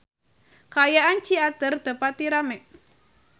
Kaayaan di Ciater teu pati rame